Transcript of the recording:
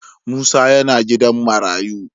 Musa yana gidan marayu.